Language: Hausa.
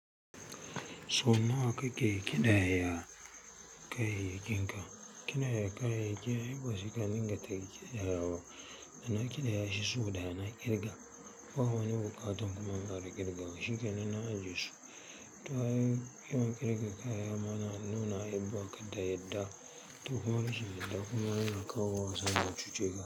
Sau nawa kake ƙidayar kayayyakin ka? Kina da kayayyaki wasiƙa in dinga tayaki ƙidayawa. Na ƙidaya shi sau ɗaya na ƙirga ba wani buƙatan kuma in ƙara ƙirga wa shi ke nan na aje su. Ai yawan kirga kaya mana iya baka to kuma rashin yadda kuma yana kawo mutum ma ya cuce ka.